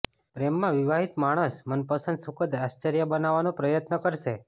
પ્રેમમાં વિવાહિત માણસ મનપસંદ સુખદ આશ્ચર્ય બનાવવાનો પ્રયત્ન કરશે